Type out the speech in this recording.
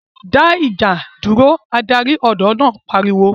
dá ìjà dúró' Adarí ọ̀dọ́ náà pariwo